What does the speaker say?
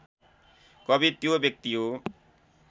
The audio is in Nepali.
कवि त्यो व्यक्ति हो